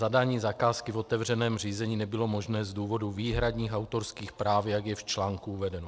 Zadání zakázky v otevřeném řízení nebylo možné z důvodu výhradních autorských práv, jak je v článku uvedeno.